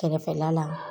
Kɛrɛfɛla la